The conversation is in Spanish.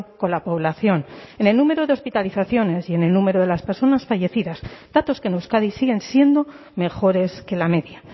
con la población en el número de hospitalizaciones y en el número de las personas fallecidas datos que en euskadi siguen siendo mejores que la media